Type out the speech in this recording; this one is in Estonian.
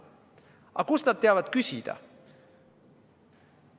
Aga kust nad teavad küsida?